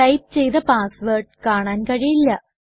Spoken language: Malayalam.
ടൈപ്പ് ചെയ്ത പാസ്സ്വേർഡ് കാണാൻ കഴിയില്ല